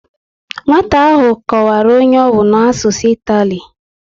Nwata ahụ kọwara onye ọ bụ a n'asụsụ itali